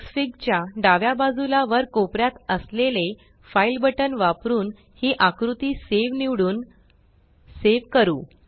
Xfig च्या डाव्या बाजूला वर कोपऱ्यात असलेले फाइल बटन फाइल बटन वापरुन ही आकृती सावे सेव निवडून सेव करू